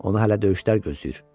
Onu hələ döyüşlər gözləyir.